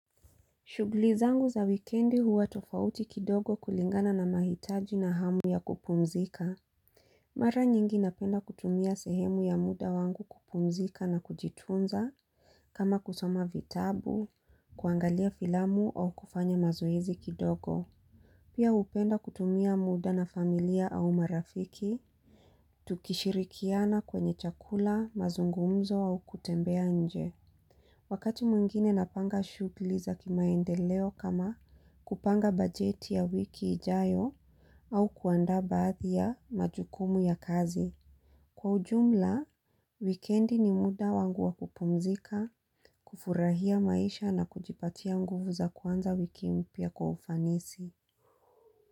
Shuguli zangu za wikendi huwa tofauti kidogo kulingana na mahitaji na hamu ya kupumzika. Mara nyingi napenda kutumia sehemu ya muda wangu kupumzika na kujitunza kama kusoma vitabu, kuangalia filamu au kufanya mazoezi kidogo. Pia upenda kutumia muda na familia au marafiki. Tukishirikiana kwenye chakula, mazungumzo au kutembea nje. Wakati mwingine napanga shuguli za kimaendeleo kama kupanga bajeti ya wiki ijayo au kuandaa baadhi ya majukumu ya kazi. Kwa ujumla, wikendi ni muda wangu wa kupumzika, kufurahia maisha na kujipatia nguvu za kuanza wiki mpia kwa ufanisi.